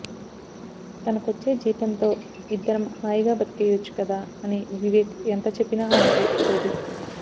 తనకొచ్చే జీతంతో ఇద్దరం హాయిగా బతికేయొచ్చు కదా అని వివేక్ ఎంత చెప్పినా ఆమె ఒప్పుకోదు